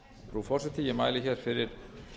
virðulegi forseti ég mæli hér fyrir